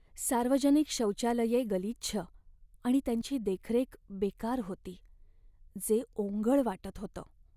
सार्वजनिक शौचालये गलिच्छ आणि त्यांची देखरेख बेकार होती, जे ओंगळ वाटत होतं.